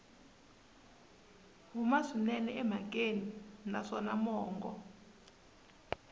huma swinene emhakeni naswona mongo